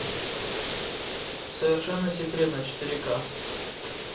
совершенно секретно четыре ка